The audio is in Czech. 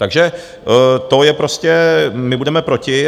Takže to je prostě - my budeme proti.